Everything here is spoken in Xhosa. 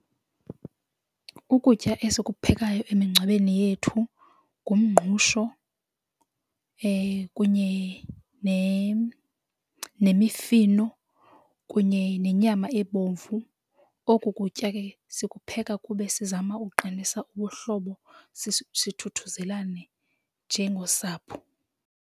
Ukutya esikuphekayo emingcwabeni yethu ngumngqusho kunye nemifino kunye nenyama ebomvu. Oku kutya ke sikupheka kube sizama ukuqinisa ubuhlobo sithuthuzelane njengosapho.